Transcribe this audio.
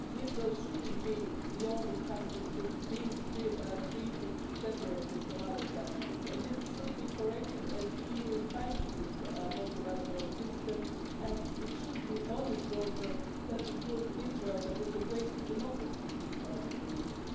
Israel shouldn't be the only country that is being treated separately from other countries and this should be corrected as the EU is financing a multilateral system and it should be an honest broker that includes Israel that is the greatest democracy in this part of the region.